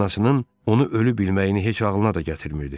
Anasının onu ölü bilməyini heç ağılına da gətirmirdi.